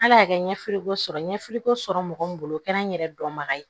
Ala y'a kɛ ɲɛfiliko sɔrɔ ye ɲɛfiliko sɔrɔ mɔgɔ min bolo o kɛra n yɛrɛ dɔnbaga ye